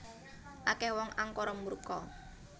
Akeh wong angkara murka